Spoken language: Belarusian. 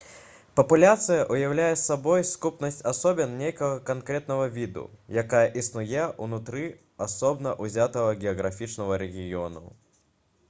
папуляцыя ўяўляе сабой сукупнасць асобін нейкага канкрэтнага віду якая існуе ўнутры асобна ўзятага геаграфічнага рэгіёну